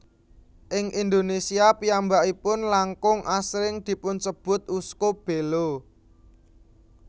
Ing Indonesia piyambakipun langkung asring dipunsebut Uskup Belo